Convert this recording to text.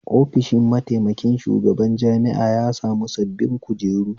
Ofishi mataikin shugaban jami'a ya sami sabbin kujeru